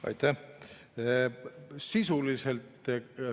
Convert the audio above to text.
Aitäh!